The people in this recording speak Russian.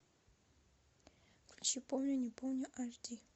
включи помню не помню аш ди